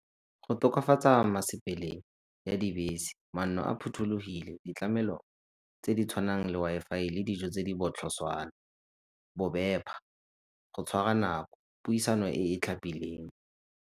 Go tokafatsa ya dibese, manno a phothulogile, ditlamelo tse di tshwanang le Wi-Fi le dijo tse di botlhoswana, go tshwara nako, pusiano e e tlhapileng.